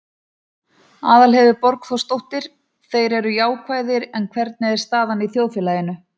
Aðalheiður Borgþórsdóttir: Þeir eru jákvæðir, en hvernig er staðan í þjóðfélaginu?